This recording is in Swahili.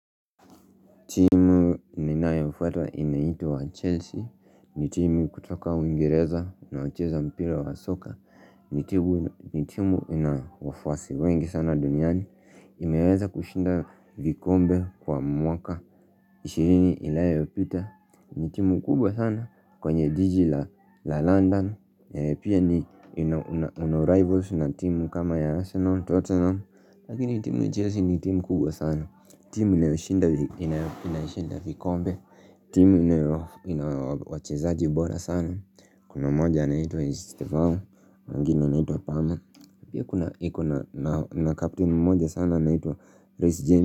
Timu ninayofuata inaitwa Chelsea. Ni timu kutoka uingereza inayocheza mpira wa soka. Ni timu inayo wafuasi wengi sana duniani. Imeweza kushinda vikombe kwa mwaka ishirini iliyopita ni timu kubwa sana kwenye jiji la London yenye pia ni, una rivals na timu kama ya Arsenal, Tottenham lakini timu ya Chelsea ni timu kubwa sana, timu inayoshinda vikombe timu ina wachezaaji bora sana. Kuna mmoja anaitwa Estevao, mwingine anitwa Palmer, pia kuna, iko na captain mmoja sana anaitwa Reece James.